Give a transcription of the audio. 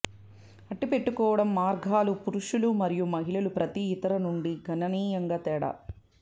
అట్టిపెట్టుకోవడం మార్గాలు పురుషులు మరియు మహిళలు ప్రతి ఇతర నుండి గణనీయంగా తేడా